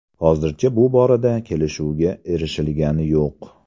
Hozircha bu borada kelishuvga erishilgani yo‘q.